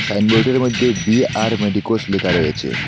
সাইনবোর্ডের মধ্যে B R medicos লেখা রয়েছে।